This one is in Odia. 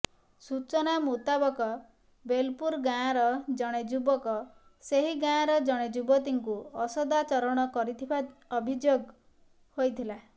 ସୂଚନା ମୁତାବକ ବେଲପୁର ଗାଁର ଜଣେ ଯୁବକ ସେହି ଗାଁର ଜଣେ ଯୁବତୀଙ୍କୁ ଅସଦାଚରଣ କରିଥିବା ଅଭିଯୋଗ ହୋଇଥିଲା